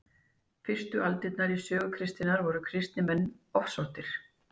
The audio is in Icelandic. fyrstu aldirnar í sögu kristninnar voru kristnir menn ofsóttir